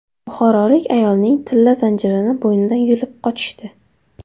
Buxorolik ayolning tilla zanjirini bo‘ynidan yulib qochishdi.